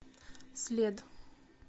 след